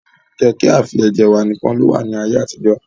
Kẹ̀kẹ́ afẹjẹ̀wà nìkan ló wà ní ayé àtijọ́.